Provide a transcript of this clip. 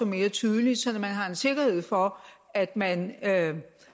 mere tydeligt sådan at man har en sikkerhed for at man